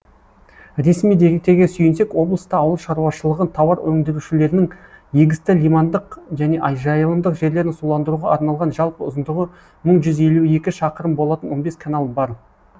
ресми деректерге сүйенсек облыста ауыл шаруашылығы тауар өндірушілерінің егісті лимандық және жайылымдық жерлерін суландыруға арналған жалпы ұзындығы мың жүз елу екі шақырым болатын он бес канал бар